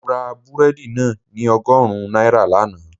Mo ra búrẹ́dì náà ní ọgọ́rùn-ún náírà lánàá